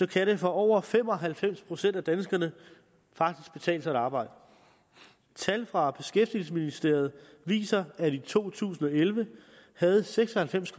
kan det for over fem og halvfems procent af danskerne faktisk betale sig at arbejde tal fra beskæftigelsesministeriet viser at i to tusind og elleve havde seks og halvfems